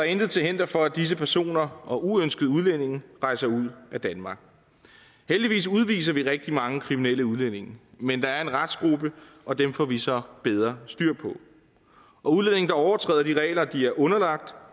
intet til hinder for at disse personer og uønskede udlændinge rejser ud af danmark heldigvis udviser vi rigtig mange kriminelle udlændinge men der er en restgruppe og dem får vi så bedre styr på og udlændinge der overtræder de regler de er underlagt